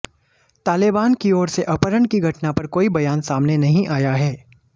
Taliban की ओर से अपहरण की घटना पर कोई बयान सामने नहीं आया है